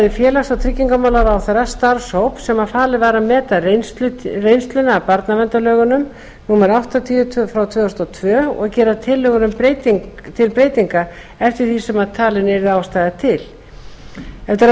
félags og tryggingamálaráðherra starfshóp sem falið var að meta reynsluna af barnaverndarlögum númer áttatíu tvö þúsund og tvö og gera tillögur til breytinga eftir því sem talin yrði ástæða til eftir að